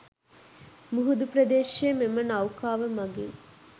මුහුදු ප්‍රදේශය මෙම නව්කාව මගින්